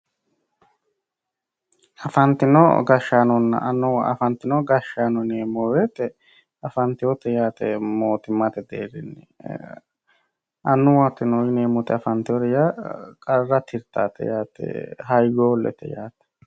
Afantino gashshaanonna annuwa, afantino gashshaanonna annuwa ,afantewo gashshaano yineemmo woyte afanteworeti yaate mootimmate deerinni, annuwate yineemmori afanteworeti yaa qarra tirtanote yaate hayyoolete yinnanni.